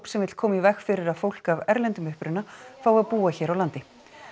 sem vill koma í veg fyrir að fólk af erlendum uppruna fái að búa hér á landi